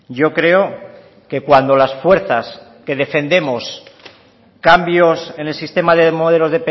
yo creo que cuando las fuerzas que defendemos cambios en el sistema de modelos